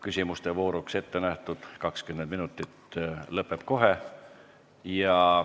Küsimuste vooruks ettenähtud 20 minutit lõpeb kohe.